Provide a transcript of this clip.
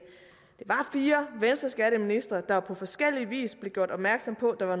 var fire venstreskatteministre der på forskellig vis blev gjort opmærksom på at der var